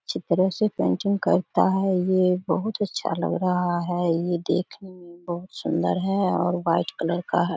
चित्र से पेंटिंग करता है ये बहुत अच्छा लग रहा है ये देखने मे बहुत सुंदर है और व्हाइट कलर का है।